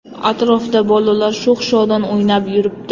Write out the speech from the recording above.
Atrofda bolalar sho‘x-shodon o‘ynab yuribdi.